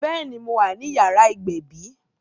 Béèni, mo wà ní yàrá ìgbẹ̀bí